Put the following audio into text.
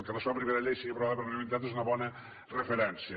que la seva primera llei sigui aprovada per unanimitat és una bona referència